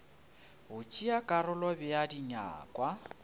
go tšea karolo bea dinyakwa